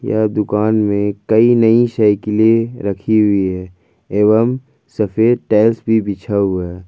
यह दुकान में कई नई साइकिल रखी हुई है एवं सफेद टाइल्स भी बढ़ा हुआ है।